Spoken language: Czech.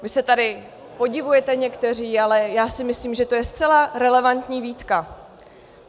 Vy se tady podivujete někteří, ale já si myslím, že je to zcela relevantní výtka.